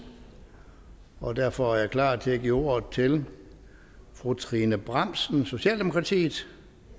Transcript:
og derfor er jeg klar til at give ordet til fru trine bramsen socialdemokratiet